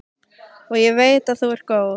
Og ég veit að þú ert góð.